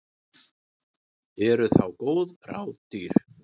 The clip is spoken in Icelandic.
Eru þá góð ráð dýr.